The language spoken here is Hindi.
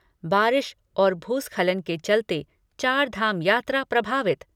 बारिश और भूस्खलन के चलते चारधाम यात्रा प्रभावित।